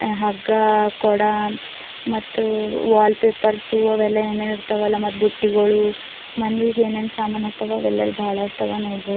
ಹಗ್ಗ ಕೊಡ ಮತ್ತ ವಾಲ್ ಪೇಪರ್ ಸು ಅವೆಲ್ಲ ಏನೇನ್ ಇರ್ತವಲ್ಲ ಮತ್ ಬುಟ್ಟಿಗಳು ಮನಿಗ್ ಏನೇನ್ ಸಮಾನತವಲ್ಲ ಅವೆಲ್ಲ ಇಲ್ ಬಾಳಷ್ಟಾವ ನೋಡ್ ಬಹುದು--